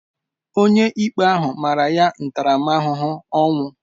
Onyeikpe ahụ mara ya ntaramahụhụ ọnwụ.